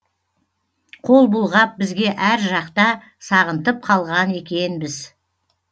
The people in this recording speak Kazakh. қол бұлғап бізге әр жақта сағынтып қалған екенбіз